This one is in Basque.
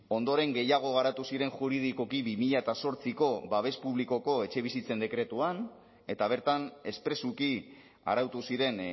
ondoren gehiago garatu ziren juridikoki bi mila zortziko babes publikoko etxebizitzen dekretuan eta bertan espresuki arautu ziren